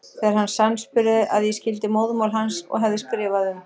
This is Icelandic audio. Þegar hann sannspurði að ég skildi móðurmál hans og hefði skrifað um